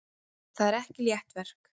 Það er ekki létt verk.